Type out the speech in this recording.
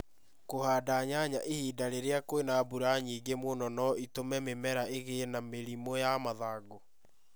Kũhanda nyanya ihinda rĩria kwĩna mbura nyingĩ mũno no ĩtũme mĩmera ĩgĩe na mĩrimũ ya mathangũ.